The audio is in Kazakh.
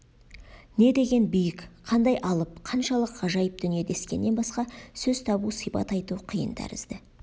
не деген биік қандай алып қаншалық ғажайып дүние дескеннен басқа сөз табу сипат айту қиын тәрізді